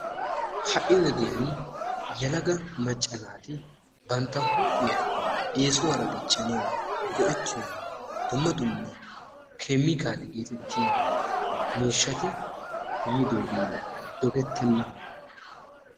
Ha'i wodiyaan yelaga macca naati bantta huuphiya eesuwaara dichchanawu go'ettiyoo dumma dumma keemikaale geetettiyaa miishshati yiidoogee dogettena.